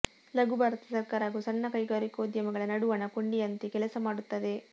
ಲಘುಭಾರತಿ ಸರ್ಕಾರ ಹಾಗೂ ಸಣ್ಣ ಕೈಗಾರಿಕೋದ್ಯಮಿಗಳ ನಡುವಣ ಕೊಂಡಿಯಂತೆ ಕೆಲಸ ಮಾಡುತ್ತದೆ